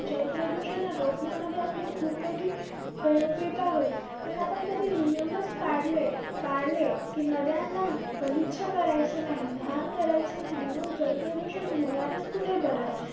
जलप्रदूषण रोखण्यामध्ये आपली खूप मोठी उपयोगात होईल. पण आपण कधी नियमच पाडले~ पाळले कि नद्यांना गलिच्छ करायचं नाही. घान करायचं नाही. मग जलप्रदूषण होणारचं कुठे बरं?